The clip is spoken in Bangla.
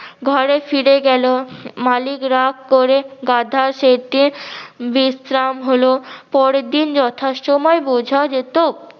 ঘরে ফিরে গেলো মালিক রাগ করে গাধা সেটির বিশ্রাম হলো। পরেরদিন যথা সময়ে বোঝা যেত